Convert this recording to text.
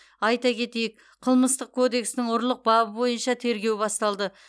айта кетейік қылмыстық кодекстің ұрлық бабы бойынша тергеу басталды